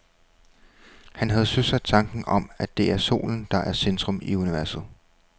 Han havde søsat tanken om, at det er solen, der er i centrum af universet.